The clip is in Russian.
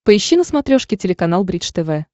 поищи на смотрешке телеканал бридж тв